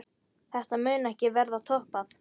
Þetta mun ekki verða toppað.